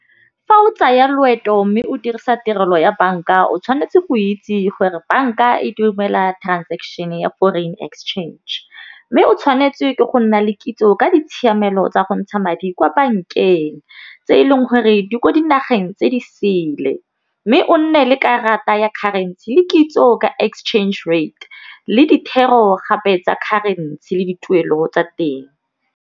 Fa o tsaya loeto mme o dirisa tirelo ya banka o tshwanetse go itse gore banka e duela transaction ya foreign exchange, mme o tshwanetse ke go nna le kitso ka ditshiamelo tsa go ntsha madi kwa bankeng tse e leng gore di ko dinageng tse di sele, mme o nne le karata ya currency le kitso ka exchange rate le dithero gape tsa currency le dituelo tsa teng.